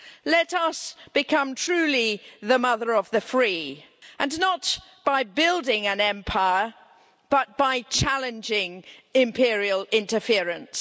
Let us become truly the mother of the free, and not by building an empire, but by challenging imperial interference.